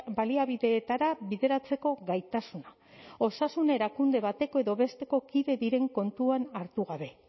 baliabideetara bideratzeko gaitasuna osasun erakunde bateko edo besteko kide diren kontuan hartu gabe